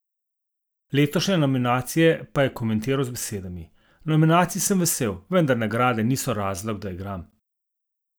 Letošnje nominacije pa je komentiral z besedami: "Nominacij sem vesel, vendar nagrade niso razlog, da igram.